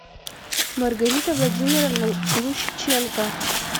маргарита владимировна лущиченко